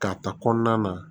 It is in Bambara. K'a ta kɔnɔna na